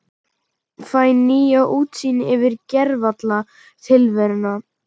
Fæ nýja útsýn yfir gervalla tilveruna.